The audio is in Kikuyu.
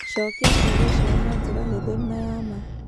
Cookia ciũria ciao na njĩra hũthũ na ya ma.